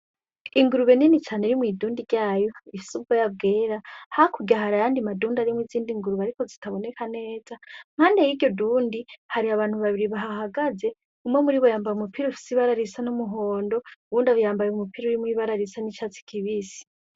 Ingurube nini cane iri mwidundi ryayo ifise ubwoya bwera hakurya hari ayandi madundi arimwo izindi ngurube ariko zitaboneka neza, Impande yiryo dundi hari abantu babiri bahagaze umwe muribo yambaye umupira ufise ibara risa n'umuhondo ,uwundi yambaye umupira usa n'icatsi kibisi.